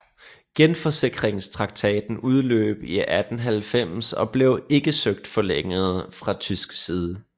Genforsikringstraktaten udløb i 1890 og blev ikke søgt forlænget fra tysk side